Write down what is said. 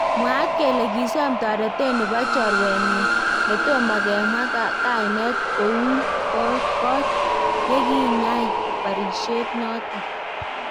Mwaat kele kisoom toretet nebo chorwanenyin netomo kemwaa kaineet kowuun koot yekinyai barisyeet noton.